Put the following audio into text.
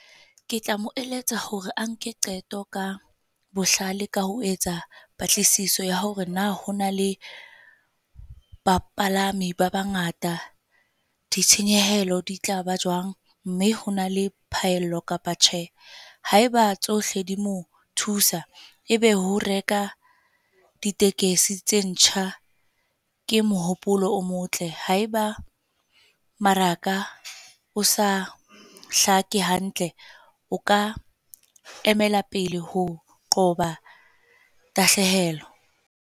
Ke tla mo eletsa hore a nke qeto ka bohlale ka ho etsa patlisiso ya hore na ho na le ba palami ba bangata ditshenyehelo di tlaba jwang, mme hona le phaello kapa tjhe. Haeba tsohle di mo thusa, e be ho reka ditekesi tse ntjha ke mohopolo o motle. Haeba maraka o sa hlake hantle, o ka emela pele ho qoba tahlehelo.